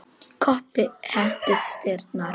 Kobbi henti steini í dyrnar.